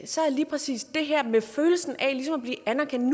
så er lige præcis det her med følelsen af ligesom at blive anerkendt